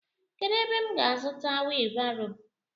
Kedụ ebe m ga azuta wiibaro?